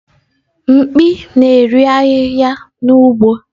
Mkpi na-eri ahihia n’ugbo.